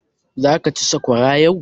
Zaka ci sakwara yau?